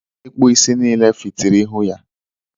ịkpụ isi niile fitiri ihu ya.